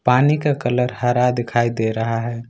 पानी का कलर हरा दिखाई दे रहा है।